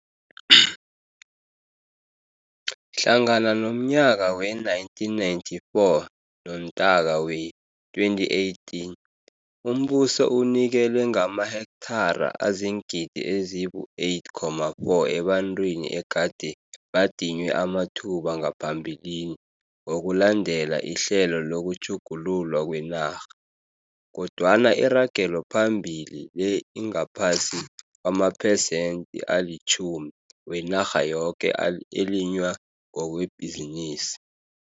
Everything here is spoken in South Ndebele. Hlangana nomnyaka we-1994 noNtaka wee-2018 umbuso unikele ngamahekthara aziingidi ezibu-8,4 ebantwini egade badinywe amathuba ngaphambilini ngokulandela ihlelo lokutjhugululwa kwenarha. Kodwana iragelophambili le ingaphasi kwamaphesenti alitjhumi wenarha yoke elinywa ngokwebhizinisi.